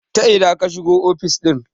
ta ina ka shigo ofis ɗin?